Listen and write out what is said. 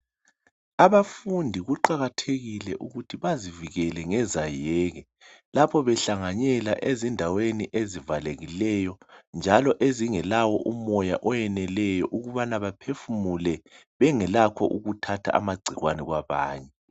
Abafundi kuqakathekile ukuthi bazivikele ngezayeke. Lapha behlanganyela ezindaweni ezivalekileyo, njalo ezingelawo umoya oweneleyo. Ukubana baphefumule, bengelakho ukuthatha amagcikwane kwabanye.